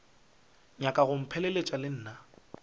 nyaka go mpheleletša le nna